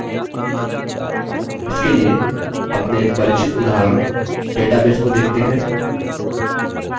इसके लिए अपने परिचित उदाहरण database को देखते हैं